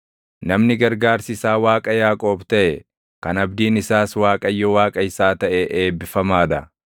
Namni gargaarsi isaa Waaqa Yaaqoob taʼe, kan abdiin isaas Waaqayyo Waaqa isaa taʼe eebbifamaa dha.